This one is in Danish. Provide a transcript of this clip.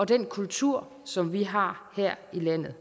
den kultur som vi har her i landet